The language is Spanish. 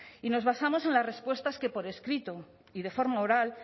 y nos basamos en las respuestas que por escrito y de forma oral